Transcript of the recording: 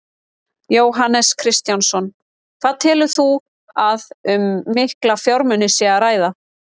Jóhannes Kristjánsson: Hvað telur þú að um mikla fjármuni sé að ræða?